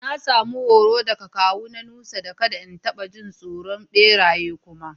Na samu horo daga kawu na Nusa, da kadda in tabba jin tsoron beraye kuma.